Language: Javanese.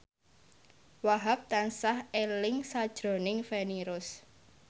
Wahhab tansah eling sakjroning Feni Rose